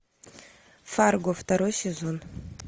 фарго второй сезон